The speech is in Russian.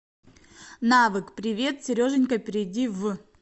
навык привет сереженька перейди в